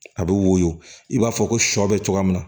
A bɛ woyo i b'a fɔ ko sɔ bɛ cogoya min na